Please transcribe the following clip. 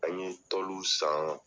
An ye san